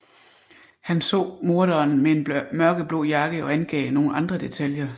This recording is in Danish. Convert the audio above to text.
Han så morderen med en mørkeblå jakke og angav nogle andre detaljer